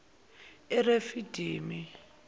erefidimi